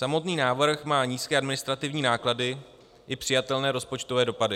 Samotný návrh má nízké administrativní náklady i přijatelné rozpočtové dopady.